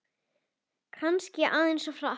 Sölvi: Kannski aðeins of hratt